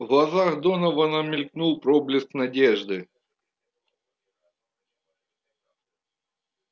в глазах донована мелькнул проблеск надежды